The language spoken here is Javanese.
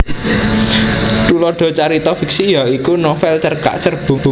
Thulada carita fiksi ya iku novel cerkak cerbung